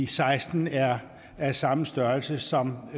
seksten er af samme størrelse som